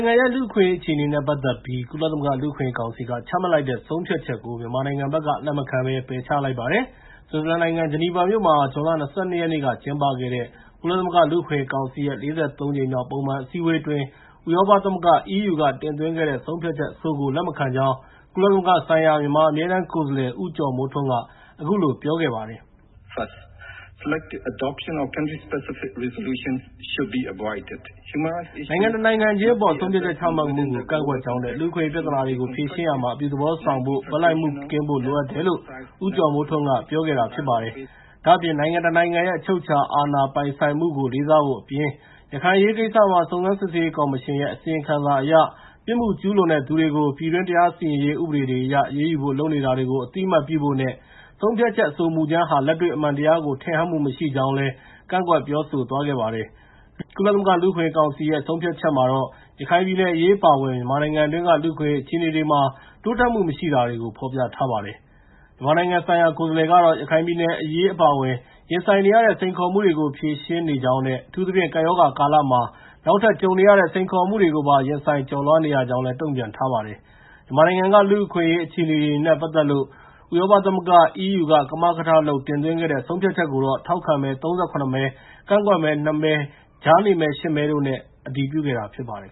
င်ငံရဲ့ လူ့အခွင့်အရေးအခြေအနေနဲ့ ပတ်သက်ပြီး ကုလသမဂ္ဂလူ့အခွင့်အရေးကောင်စီက ချမှတ်လိုက်တဲ့ ဆုံးဖြတ်ချက်ကို မြန်မာနိုင်ငံဘက်က လက်မခံပယ်ချလိုက်ပါတယ်။ ဆွစ်ဇာလန်နိုင်ငံ ဂျနီဗာမြို့ မှာ ဇွန်လ ၂၂ ရက်နေ့က ကျင်းပခဲ့တဲ့ ကုလသမဂ္ဂ လူ့အခွင့်အရေးကောင်စီရဲ့ ၄၃ ကြိမ်မြောက် ပုံမှန်အစည်းအဝေးအတွင်း ဥရောပသမဂ္ဂ က တင်သွင်းခဲ့တဲ့ ဆုံးဖြတ်ချက်အဆိုကို လက်မခံကြောင်း ကုလသမဂ္ဂဆိုင်ရာ မြန်မာအမြဲတမ်း ကိုယ်စားလှယ် ဦးကျော်မိုးထွန်းက အခုလို ပြောပါတယ်။ “နိုင်ငံတနိုင်ငံခြင်းအပေါ် ဆုံးဖြတ်ချက် ချမှတ်မှုကို ကန့်ကွက်ကြောင်းနဲ့ လူ့အခွင့်အရေး ပြဿနာတွေကို ဖြေရှင်းရာမှာ အပြုသဘောဆောင်ဖို့ ဘက်လိုက်မှုကင်းဖို့တွေ လိုအပ်တယ်” လို့ ဦးကျော်မိုးထွန်းက ပြောခဲ့တာပါ။ ဒါ့အပြင် နိုင်ငံတနိုင်ငံရဲ့ အချုပ်အခြာအာဏာပိုင်ဆိုင်မှုကို လေးစားဖို့အပြင်၊ ရခိုင်အရေးကိစ္စမှာ စုံစမ်းစစ်ဆေးရေးကော်မရှင်ရဲ့အစီရင်ခံစာအရ ပြစ်မှုကျူးလွန်တဲ့သူတွေကို ပြည်တွင်း တရားစီရင်ရေး ဥပဒေတွေအရ အရေးယူဖို့လုပ်နေတာကို အသိအမှတ်ပြုဖို့ နဲ့ ဆုံးဖြတ်ချက် အဆိုမူကြမ်းဟာ လက်တွေ့အမှန်တရားကို ထင်ဟပ်မှုမရှိကြောင်းလည်း ကန့်ကွက်ပြောဆိုသွားခဲ့ပါတယ်။ ကုလသမဂ္ဂလူ့အခွင့်အရေးကောင်စီရဲ့ ဆုံးဖြတ်ချက်မှာတော့ ရခိုင်ပြည်နယ်အရေး အပါအဝင် မြန်မာနိုင်ငံတွင်းက လူ့အခွင့်အရေး အခြေအနေတွေမှာ တိုးတက်မှုမရှိတာတွေကို ဖော်ပြထားပါတယ်။ မြန်မာနိုင်ငံဆိုင်ရာ ကိုယ်စားလှယ်ကတော့ ရခိုင်ပြည်နယ် အရေး အပါအဝင် ရင်ဆိုင်နေရတဲ့ စိန်ခေါ်မှုတွေကို ဖြေရှင်းနေကြောင်းနဲ့ အထူးသဖြင့် ကပ်ရောဂါကာလမှာ နောက်ထပ်ကြုံနေရတဲ့ စိန်ခေါ်မှုတွေကိုပါ ရင်ဆိုင်ကျော်လွှားနေရကြောင်းလည်း တုံ့ပြန်ထားပါတယ်။ မြန်မာနိုင်ငံက လူ့အခွင့်အရေး အခြေအနေတွေနဲ့ ပတ်သက်လို့ ဥရောပသမဂ္ဂ က ကမကထလုပ် တင်သွင်းခဲ့တဲ့ ဆုံးဖြတ်ချက်ကိုတော့ ထောက်ခံမဲ ၃၇ မဲ၊ ကန့်ကွက်မဲ ၂ မဲနဲ့ ကြားနေမဲ ၈ မဲတို့နဲ့ အတည်ပြုခဲ့တာ ဖြစ်ပါတယ်